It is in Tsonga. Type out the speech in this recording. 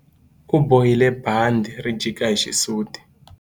U bohile bandhi ri jika hi xisuti.